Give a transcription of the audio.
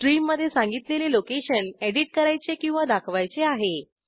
स्ट्रीममधे सांगितलेले location edit करायचे किंवा दाखवायचे आहे